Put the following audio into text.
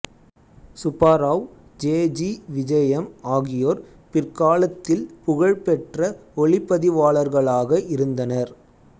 Subbarao J G Vijayam ஆகியோர் பிற்காலத்தில் புகழ் பெற்ற ஒளிப்பதிவாளர்களாக இருந்தனர்